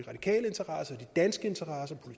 danske interesser